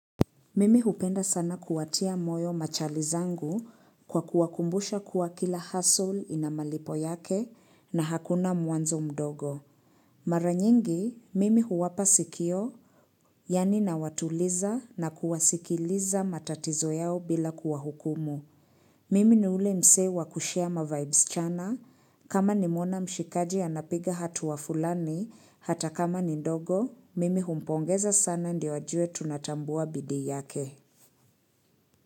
Mimi hupenda sana kuwatia moyo machali zangu kwa kuwakumbusha kuwa kila hustle ina malipo yake na hakuna mwanzo mdogo. Mara nyingi, mimi huwapa sikio, yani nawatuliza na kuwasikiliza matatizo yao bila kuwahukumu. Mimi ni ule mse wa kushare ma vibes chana, kama nimeona mshikaji anapiga hatua fulani hata kama ni ndogo, mimi humpongeza sana ndio ajue tunatambua bidii yake.